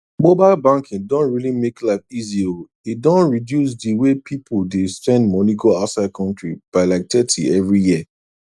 mobile banking don really make life easy o e don reduce d way pipu dey send moni go outside country by like thirty everi year